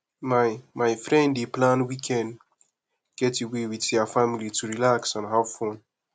my my friend dey plan weekend getaway with their family to relax and have fun